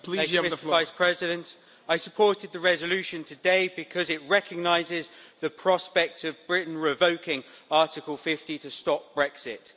Mr President, I supported the resolution today because it recognises the prospect of Britain revoking Article 50 to stop Brexit.